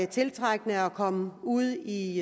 tiltrækkende at komme ud i